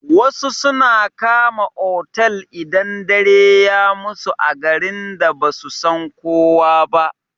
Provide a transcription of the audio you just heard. Wasu suna kama otal idan dare ya musu a garin da basu san kowa ba.